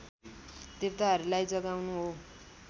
देवताहरूलाई जगाउनु हो